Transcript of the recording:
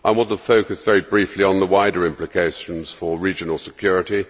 I want to focus very briefly on the wider implications for regional security.